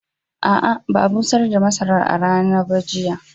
A'a, ba a busar da masarar a rana ba jiya